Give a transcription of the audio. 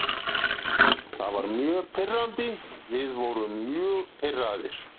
Það var mjög pirrandi, við vorum mjög pirraðir.